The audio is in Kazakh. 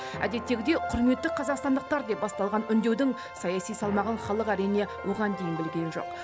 әдеттегідей құрметті қазақстандықтар деп басталған үндеудің саяси салмағын халық әрине оған дейін білген жоқ